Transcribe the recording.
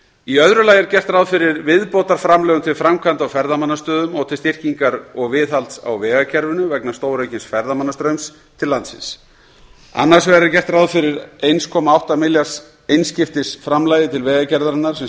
í öðru lagi er gert ráð fyrir viðbótarframlögum til framkvæmda á ferðamannastöðum og til styrkingar og viðhalds á vegakerfinu vegna stóraukins ferðamannastraums til landsins annars vegar er gert ráð fyrir eins komma átta milljarða króna einskiptisframlagi til vegagerðarinnar sem